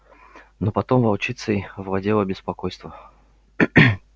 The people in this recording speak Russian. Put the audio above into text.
но потом волчицей овладело беспокойство